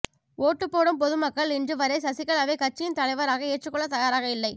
ஓட்டு போடும் பொதுமக்க்ள் இன்று வரை சசிகலாவை கட்சியின் தலைவராக ஏற்றுகொள்ள தயாராக இல்லை